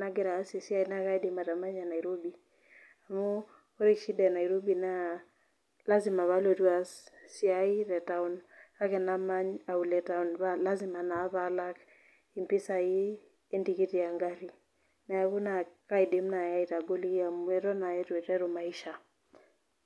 nagira aas esiai naa kaidim atamanya Nairbi. Amu ore shida e Nairobi naa lasima paalotu aas esiai te taun, kake namany aulo e taun, paa lasima naa palak impisai entikiti engari. neaku aidim naaji aitagoliki amu eton naa eitu aiteru maisha.